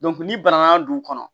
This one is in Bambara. n'i bananna dugu kɔnɔ